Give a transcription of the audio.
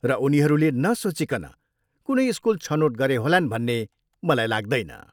र उनीहरूले नसोचिकन कुनै स्कुल छनोट गरे होलान् भन्ने मलाई लाग्दैन।